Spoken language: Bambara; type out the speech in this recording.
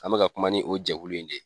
An bɛ ka ka kuma ni o jɛkulu in de ye